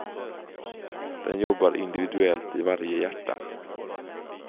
Den jobbar individuellt i varje hjärta.